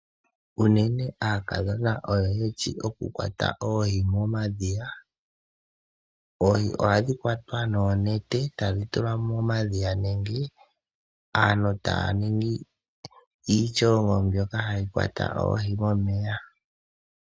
Unene aakadhona oyo yeshi oku kwata oohi momadhiya. Oohi ohadhi kwatwa noonete tadhi tulwa momadhiya nenge aantu taya ningi iityololo mbyoka hayi kwata oohi momeya.